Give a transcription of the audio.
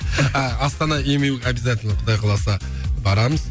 а астана эмю обязательно құдай қаласа барамыз